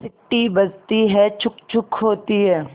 सीटी बजती है छुक् छुक् होती है